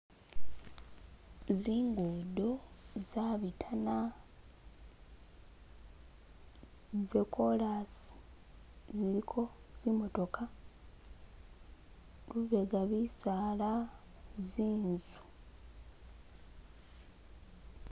Zingudo zabitana zekorasi ziliko zi'motoka, lubega bisala zinzu